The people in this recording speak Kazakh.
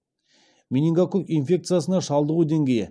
менингококк инфекциясына шалдығу деңгейі